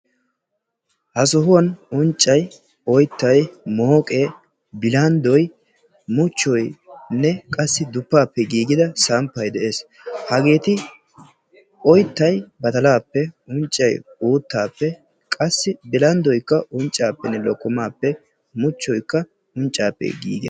Ha sohuwan unccay oyttayttay mooqqe bilanddoy muchchoynne qassi duppape gigida samppay de'ees. Hageeti oyttay badaalappe unccay uttape qassi bilanddoy unccappene lokkomappe muchchoykka unccappe gigees.